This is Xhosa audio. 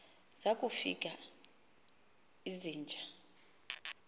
zaku fika izinja